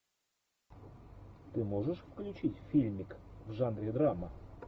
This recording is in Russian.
ты можешь включить фильмик в жанре драма